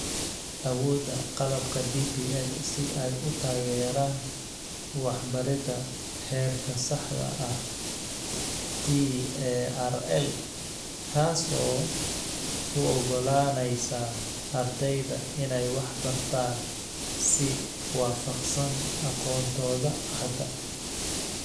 Awoodda qalabka DPL si ay u taageeraan 'waxbaridda heerka saxda ah' (TARL), taasoo u oggolaanaysa ardayda inay wax bartaan si waafaqsan aqoontooda hadda.